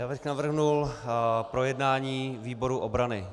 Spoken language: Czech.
Já bych navrhl projednání výboru obrany.